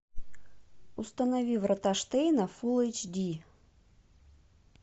установи врата штейна фулл эйч ди